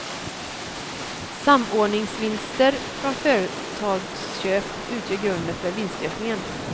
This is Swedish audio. Samordningsvinster från företagsköp utgör grunden för vinstökningen.